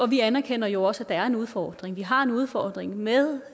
vi anerkender jo også er en udfordring vi har en udfordring med